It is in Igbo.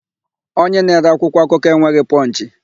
Onye na-ere akwụkwọakụkọ enweghị Pọnchị.